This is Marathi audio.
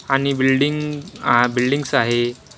आणि बिल्डिंग बिल्डिंग्स आहे.